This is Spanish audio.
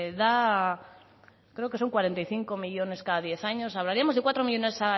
da creo que son cuarenta y cinco millónes cada diez años hablaríamos de cuatro millónes